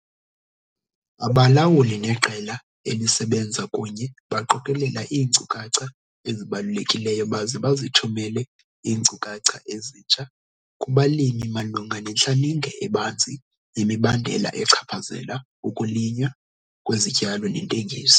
Abalawuli neqela elisebenza kunye baqokelela iinkcukacha ezibalulekileyo baze bazithumele iinkcukacha ezintsha kubalimi malunga nentlaninge ebanzi yemibandela echaphazela ukulinywa kwezityalo nentengiso.